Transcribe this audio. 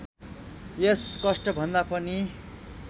यस कष्टभन्दा पनि